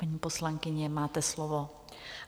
Paní poslankyně, máte slovo.